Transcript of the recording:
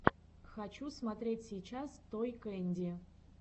хочу смотреть сейчас той кэнди